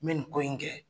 N bɛ nin ko in kɛ